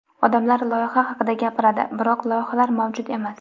Odamlar loyiha haqida gapiradi, biroq loyihalar mavjud emas.